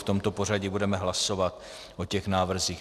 V tomto pořadí budeme hlasovat o těch návrzích.